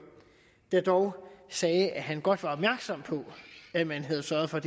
der dog sagde at han godt var opmærksom på at man havde sørget for